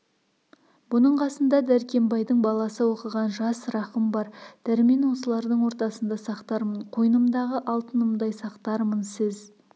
бұның қасында дәркембайдың баласы оқыған жас рахым бар дәрмен осылардың ортасында сақтармын қойнымдағы алтынымдай сақтармын сіз